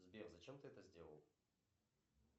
сбер зачем ты это сделал